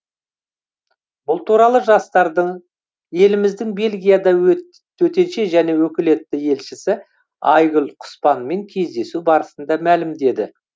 бұл туралы жастардың еліміздің бельгиядағы төтенше және өкілетті елшісі айгүл құспанмен кездесу барысында мәлімдеді